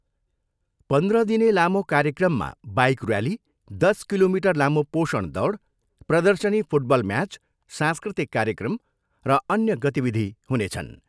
पन्ध्र दिने लामो कार्यक्रममा बाइक र्याली, दस किलोमिटर लामो पोषण दौड, प्रदर्शनी फुटबल म्याच, सांस्कृतिक कार्यक्रम र अन्य गतिविधि हुनेछन्।